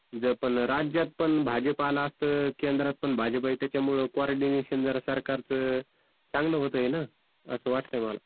ज पण राज्यात पण भाजप आलं असतं, केंद्रात पण भाजप आहे तर त्याच्यामुळे कोऑर्डिनेशन जरा सरकारच चांगलं होतंय ना, असं वाटतंय मला.